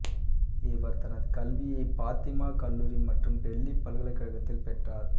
இவர் தனது கல்வியை பாத்திமா கல்லூரி மற்றும் டெல்லி பல்கலைக்கழகத்தில் பெற்றார்